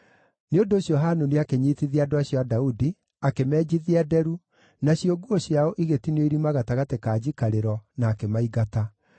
Nĩ ũndũ ũcio Hanuni akĩnyiitithia andũ acio a Daudi, akĩmenjithia nderu, nacio nguo ciao igĩtinio irima gatagatĩ ka njikarĩro, na akĩmaingata.